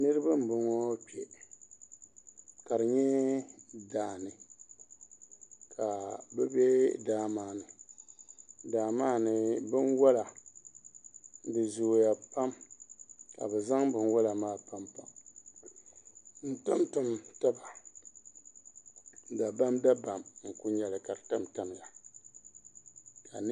Niraba n boŋo kpɛ ka di nyɛ daani ka bi bɛ daa maa ni daa maa ni binwola di zooya pam ka bi zaŋ binwola maa tamtam taba dabam dabam n ku nyɛli ka di tamtamya